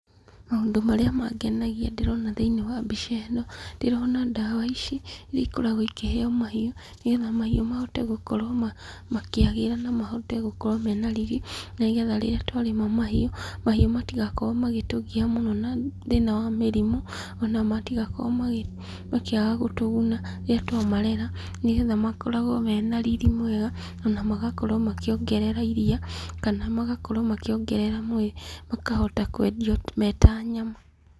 Maũndũ marĩa mangenagia ndĩrona thĩiniĩ wa mbica ĩno, ndĩrona ndawa ici, iria ikoragwo ikĩheo mahiũ nĩgetha mahiũ mahote gũkorwo makĩagĩra na mahote gũkorwo mena riri, nĩgetha rĩrĩa twarĩma mahiũ matigakorwo magĩtũgia mũno na mathĩna wa mĩrimũ , ona matigakorwo makĩaga gũtũguna rĩrĩa twa marera, nĩgetha makoragwo mena riri mwega, na magakorwo makĩongerera iria , kana magakorwo makĩongerera mwĩrĩ makahota kwendio me ta nyama.